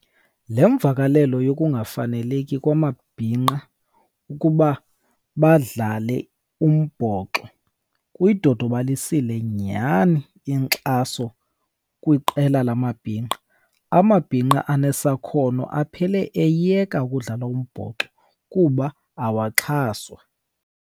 Le mvakalelo yokungafaneleki kwamabhinqa ukuba badlale umbhoxo kuyidodobalisile nyhani inkxaso kwiqela lamabhinqa. Amabhinqa anesakhono aphele eyeka ukudlala umbhoxo kuba awaxhaswa.